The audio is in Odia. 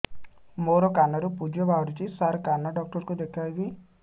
ମୋ କାନରୁ ପୁଜ ବାହାରୁଛି ସାର କାନ ଡକ୍ଟର କୁ ଦେଖାଇବି